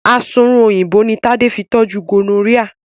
Asunrun Òyìnbó ní Tade fí toju gonorrhea.